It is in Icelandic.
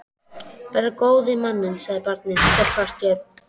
Bara góði manninn, sagði barnið og hélt fast í Örn.